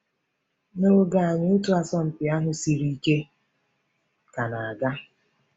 N’oge anyị, otu asọmpi ahụ siri ike ka na-aga.